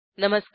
नमस्कार